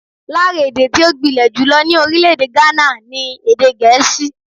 Lára èdè tí ó gbilẹ̀ jùlọ ní orílẹ̀-èdè Ghana ni Èdè Gẹ̀ẹ́sì.